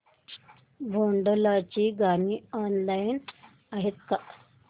भोंडला ची गाणी ऑनलाइन आहेत का